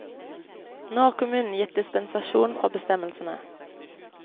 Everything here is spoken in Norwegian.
Nå har kommunen gitt dispensasjon fra bestemmelsene.